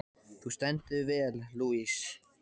Þú stendur þig vel, Louise!